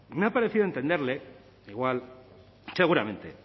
me ha parecido entenderle que igual seguramente